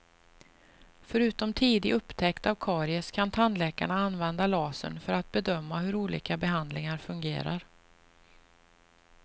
Förutom tidig upptäckt av karies kan tandläkarna använda lasern för att bedöma hur olika behandlingar fungerar.